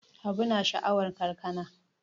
Habu yana sha'awan kankana.